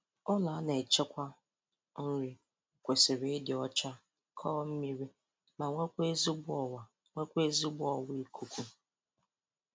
Ụlọ a na-echekwa nri kwesịrị ịdị ọcha, kọọ mmiri ma nwekwa ezigbo ọwa nwekwa ezigbo ọwa ikuku